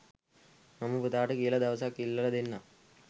මම පුතාට කියලා දවසක් ඉල්ලල දෙන්නම්